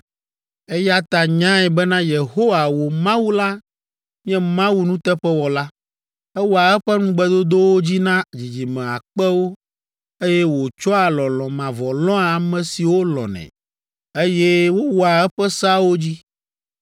Eya ta nyae bena Yehowa, wò Mawu la nye Mawu nuteƒewɔla. Ewɔa eƒe ŋugbedodowo dzi na dzidzime akpewo, eye wòtsɔa lɔlɔ̃ mavɔ lɔ̃a ame siwo lɔ̃nɛ, eye wowɔa eƒe seawo dzi.